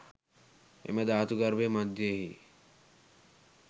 එම ධාතු ගර්භය මධ්‍යයෙහි